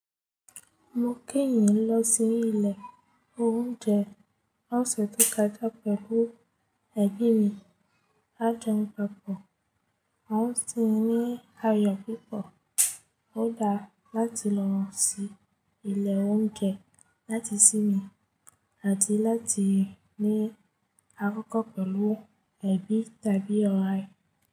Mo keyín lọ sí ilé oúnjẹ ọ̀sẹ̀ tó kọjá pẹ̀lú ẹ̀bi mi. A jẹun papọ̀, a sì ní ayọ̀ púpọ̀. Ó dára láti lọ sí ilé oúnjẹ láti sí mi àti láti ní akókò pẹ̀lú ẹbí tàbí ọ̀rẹ́.